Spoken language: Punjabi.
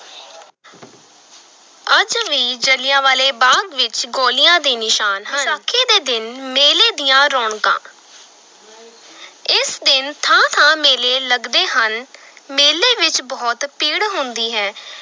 ਅੱਜ ਵੀ ਜਲਿਆਂਵਾਲੇ ਬਾਗ਼ ਵਿਚ ਗੋਲੀਆਂ ਦੇ ਨਿਸ਼ਾਨ ਹਨ, ਵਿਸਾਖੀ ਦੇ ਦਿਨ ਮੇਲੇ ਦੀਆਂ ਰੌਣਕਾਂ ਇਸ ਦਿਨ ਥਾਂ-ਥਾਂ ਮੇਲੇ ਲਗਦੇ ਹਨ ਮੇਲੇ ਵਿਚ ਬਹੁਤ ਭੀੜ ਹੁੰਦੀ ਹੈ।